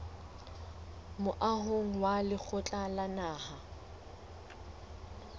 moahong wa lekgotla la naha